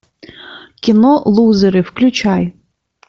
кино лузеры включай